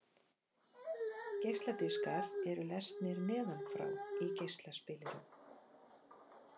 Geisladiskar eru lesnir neðan frá í geislaspilurum.